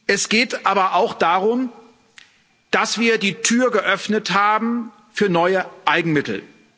Es geht aber auch darum, dass wir die Tür geöffnet haben für neue Eigenmittel.